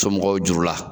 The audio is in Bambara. Somɔgɔw juru la